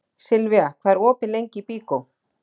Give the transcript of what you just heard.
Silvía, hvað er opið lengi í Byko?